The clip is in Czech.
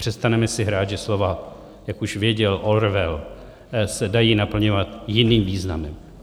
Přestaneme si hrát, že slova, jak už věděl Orwell, se dají naplňovat jiným významem.